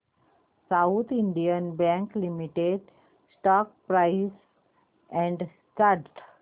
south Indian bank limited stock price and chart